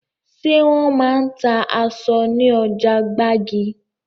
Ṣé wọn máa ń ta èso ní ọjà gbági?